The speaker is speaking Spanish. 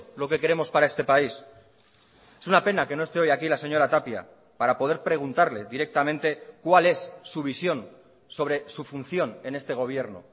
lo que queremos para este país es una pena que no esté hoy aquí la señora tapia para poder preguntarle directamente cuál es su visión sobre su función en este gobierno